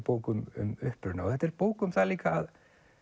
bók um uppruna og þetta er bók um það líka að